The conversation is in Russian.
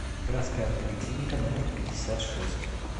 городская поликлиника номер пятьдесят шесть